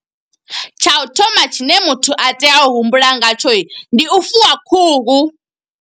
Tsha u thoma tshine muthu a tea u humbula ngatsho, ndi u fuwa khuhu.